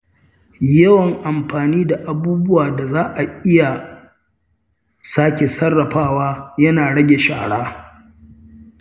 Yawan amfani da abubuwan da za a iya sake sarrafawa yana rage shara.